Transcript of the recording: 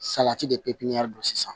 Salati de pipiniyɛri la sisan